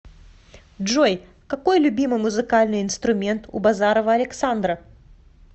джой какой любимый музыкальный инструмент у базарова александра